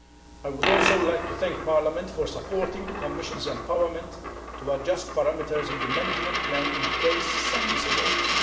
I would also like to thank Parliament for supporting the Commission's empowerment to adjust parameters in the management plan in case science evolves.